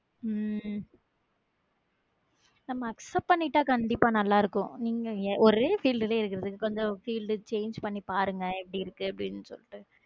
உம் உம் நம்ம accept பண்ணிட்டா கண்டிப்பா நல்லா இருக்கும் உம் ஒரே field கொஞ்சம் change பண்ணி பாருங்க எப்படி இருக்கு அப்டினு சொல்லிட்டு